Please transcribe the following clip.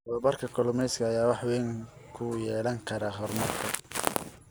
Tababarka kalluumeysiga ayaa wax weyn ku yeelan kara horumarka.